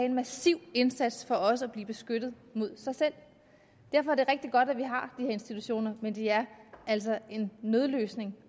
en massiv indsats for også at blive beskyttet mod sig selv derfor er det rigtig godt at vi har her institutioner men de er altså en nødløsning